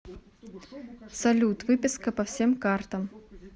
салют выписка по всем картам